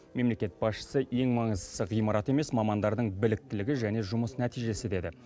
мемлекет басшысы ең маңыздысы ғимарат емес мамандардың біліктілігі және жұмыс нәтижесі деді